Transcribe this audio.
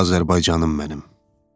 Azərbaycanım mənim.